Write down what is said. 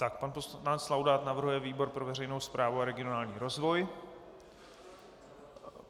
Tak pan poslanec Laudát navrhuje výbor pro veřejnou správu a regionální rozvoj.